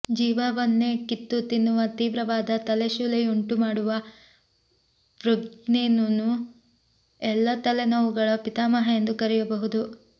ಜೀವವನ್ನೇ ಕಿತ್ತು ತಿನ್ನುವ ತೀವ್ರವಾದ ತಲೆಶೂಲೆಯುಂಟು ಮಾಡುವ ವೆುಗ್ರೇನ್ನ್ನು ಎಲ್ಲ ತಲೆನೋವುಗಳ ಪಿತಾಮಹ ಎಂದು ಕರೆಯಬಹುದು